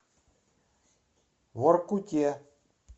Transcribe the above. воркуте